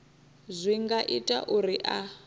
zwi nga ita uri a